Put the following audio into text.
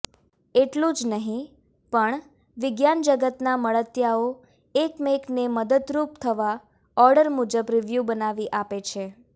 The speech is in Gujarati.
એટલું જ નહીં પણ વિજ્ઞાનજગતના મળતિયાઓ એકમેકને મદદરૂપ થવા ઓર્ડર મુજબ રિવ્યૂ બનાવી આપે છે